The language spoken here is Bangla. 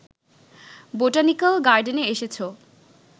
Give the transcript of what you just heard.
বোটানিক্যাল গার্ডেনে এসেছ